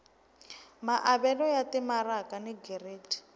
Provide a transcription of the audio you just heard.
maavelo ya timaraka ni giridi